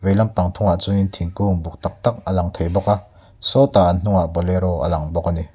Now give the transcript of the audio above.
thungah chuan in thingkung buk tak tak a lang thei bawk a sawtah an hnungah bolero a lang thei bawk a ni.